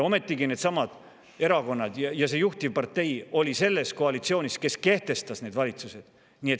Ometigi needsamad erakonnad ja see juhtivpartei oli selles koalitsioonis, kes kehtestas need valitsused.